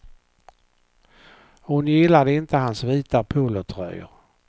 Hon gillade inte hans vita polotröjor.